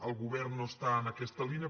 el govern no està en aquesta línia